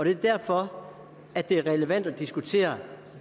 er derfor det er relevant at diskutere